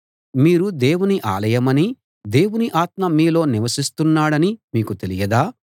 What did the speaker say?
మీరు దేవుని ఆలయమనీ దేవుని ఆత్మ మీలో నివసిస్తున్నాడనీ మీకు తెలియదా